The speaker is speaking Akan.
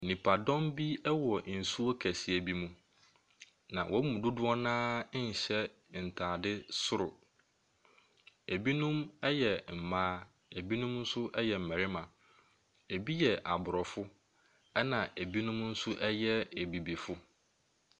Nipadɔm bi ɛwɔ nsuo kɛseɛ bi mu na wɔn mu dodoɔ naa nhyɛ ntaade soro. ebinom yɛ mmaa na ebinom nso yɛ mmarima. Ebi yɛ abrɔfo ɛna ebinom nso yɛ abibifoɔ.